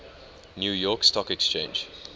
new york stock exchange